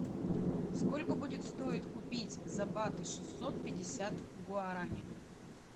сколько будет стоить купить за баты шестьсот пятьдесят гуарани